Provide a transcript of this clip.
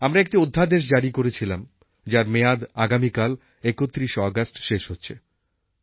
আমরা একটি অধ্যাদেশ জারি করেছিলাম যার মেয়াদ আগামীকাল ৩১শে অগাস্ট শেষ হচ্ছে